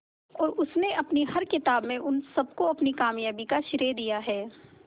और उसने अपनी हर किताब में उन सबको अपनी कामयाबी का श्रेय दिया है